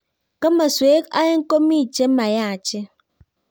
Kimaswek aenge komii che mayachen